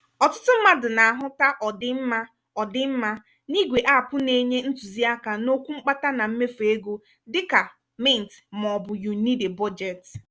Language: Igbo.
ọtụtụ mmadụ na-ahụta ọdịmma ọdịmma n'igwe app na-enye ntụziaka n'okwu mkpata na mmefu ego dika mint maọbụ you need a budget.